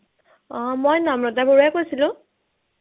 অ মই নম্ৰতা বৰুৱাই কৈছিলো